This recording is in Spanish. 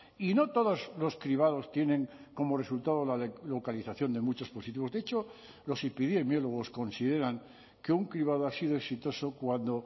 y no todos los cribados tienen como resultado la localización de muchos positivos de hecho los epidemiólogos consideran que un cribado ha sido exitoso cuando